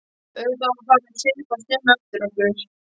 Auðvitað var farið að svipast um eftir okkur.